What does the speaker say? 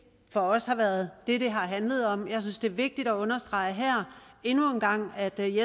for os har været det det har handlet om jeg synes det er vigtigt at understrege her endnu en gang at vi i